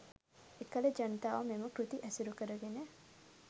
එකල ජනතාව මෙම කෘති ඇසුරුකරගෙන